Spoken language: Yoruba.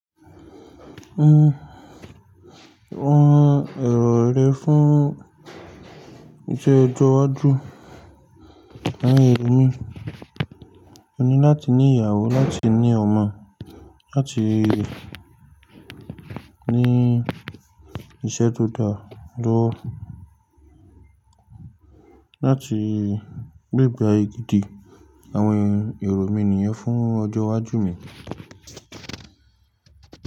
Rán ẹ̀rọ rẹ fún iṣẹ́ ọjọ́ iwájú. Àwọn èrò mi, mo ní láti ní ìyàwó, láti ní ọmọ, láti ní iṣẹ́ tó dára lówó, láti gbégbá'ye gidi. Àwọn èrò mi nìyẹn fún ọjọ́ iwájú mi.